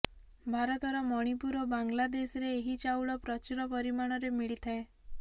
ଭାରତର ମଣିପୁର ଓ ବାଂଲାଦେଶରେ ଏହି ଚାଉଳ ପ୍ରଚୁର ପରିମାଣରେ ମିଳିଥାଏ